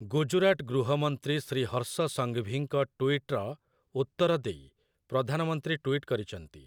ଗୁଜରାଟ ଗୃହମନ୍ତ୍ରୀ ଶ୍ରୀ ହର୍ଷ ସଂଘଭିଙ୍କ ଟୁଇଟ୍‌ର ଉତ୍ତର ଦେଇ ପ୍ରଧାନମନ୍ତ୍ରୀ ଟୁଇଟ୍ କରିଛନ୍ତି